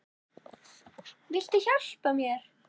Viltu hjálpa mér?